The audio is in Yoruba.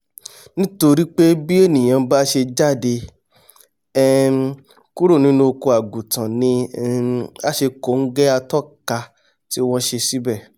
nítorípé bí ènìà bá ṣe jáde um kúrò nínú oko àgùntàn ni um á ṣe kòóngẹ́ atọ́ka tí wọ́n ṣe síbẹ̀